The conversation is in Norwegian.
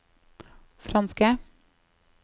franske